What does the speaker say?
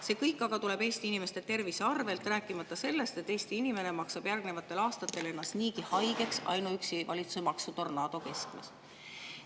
See kõik aga tuleb Eesti inimeste tervise arvelt, rääkimata sellest, Eesti inimene maksab järgnevatel aastatel ennast haigeks ainuüksi seepärast, et on valitsuse maksutornaado keskmes.